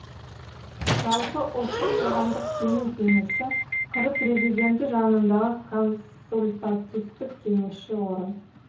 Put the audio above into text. жалпы ұлттық қоғамдық сенім кеңесі қр президенті жанындағы консультативтік кеңесші орган